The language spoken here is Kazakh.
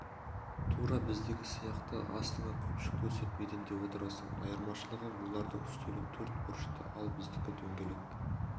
тура біздегі сияқты астыңа көпшік төсеп еденде отырасың айырмашылығы олардың үстелі төрт бұрышты ал біздікі дөңгелек